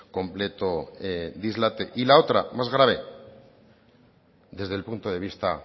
completo dislate y la otra más grave desde el punto de vista